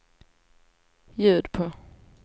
ljud på